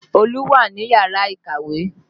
Olú wà ní yàrá ìkàwé